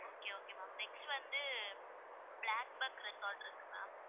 Okay okay okay ma'am next வந்து, black bark resort இருக்கு ma'am.